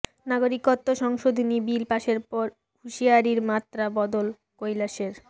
নাগরিকত্ব সংশোধনী বিল পাশের পর হুঁশিয়ারির মাত্রা বদল কৈলাসের